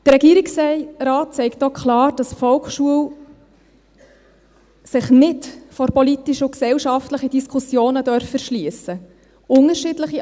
Der Regierungsrat sagt auch klar, dass die Volksschule sich nicht vor politischen und gesellschaftlichen Diskussionen verschliessen dürfe.